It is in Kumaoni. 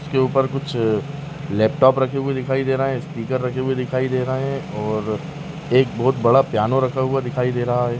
इसके ऊपर कुछ लैपटॉप रखे हुए दिखाई दे रहे हैं स्पीकर रखे हुए दे रहे हैं और एक बहोत बड़ा पियानो रखा हुआ दिखाई दे रहा है।